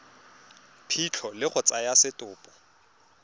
phitlho le go tsaya setopo